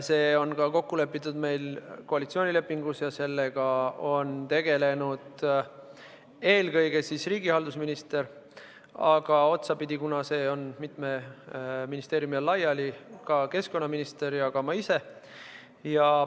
See on kokku lepitud koalitsioonilepingus ja sellega on tegelenud eelkõige riigihalduse minister, aga otsapidi, kuna see on mitme ministeeriumi all laiali, ka keskkonnaminister ja ma ise.